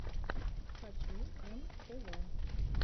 хочу эм тэ вэ